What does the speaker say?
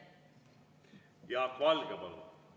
Jaak Valge, palun!